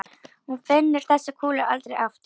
Hún finnur þessa kúlu aldrei aftur.